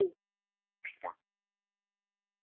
En tekst það?